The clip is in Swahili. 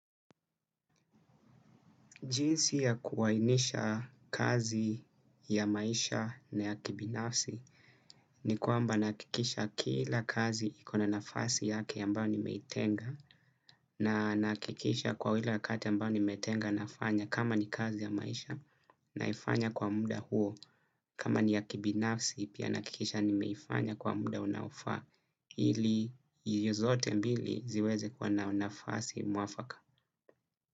Jinsi ya kuwainisha kazi ya maisha na ya kibinafsi ni kwamba nakikisha kila kazi ikona nafasi yake yambayo nimeitenga na nakikisha kwa hile wakati yambayo nimeitenga nafanya kama ni kazi ya maisha naifanya kwa muda huo kama ni ya kibinafsi pia nakikisha nimeifanya kwa muda unaofaa ili iyo zote mbili ziweze kwa na nafasi muafaka.